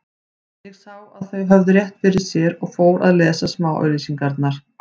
Ég sá að þau höfðu rétt fyrir sér og fór að lesa smáauglýsingarnar.